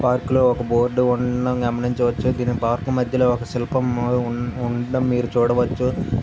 Park లో ఒక board ఉండడం గమనించవచ్చు దీని పార్క్ మధ్యలో ఒక శిల్పం ఉండడం మీరు చూడ వచ్చు.